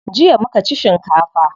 Jiya muka ci shinkafa.